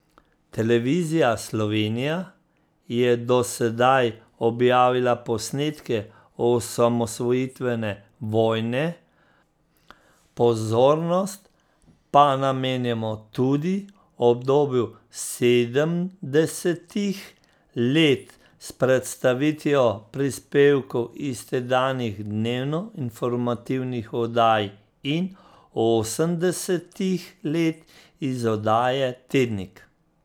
Televizija Slovenija je do sedaj objavila posnetke osamosvojitvene vojne, pozornost pa namenjamo tudi obdobju sedemdesetih let s predstavitvijo prispevkov iz tedanjih dnevno informativnih oddaj in osemdesetih let iz oddaje Tednik.